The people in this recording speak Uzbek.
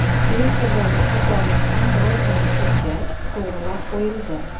Twitter’dagi xatolik ham biroz vaqt o‘tgach, to‘g‘rilab qo‘yildi.